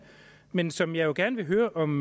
men som jeg gerne vil høre om